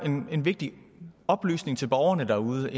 en vigtig oplysning til borgerne derude